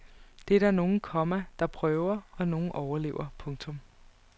Det er der nogle, komma der prøver og nogle overlever. punktum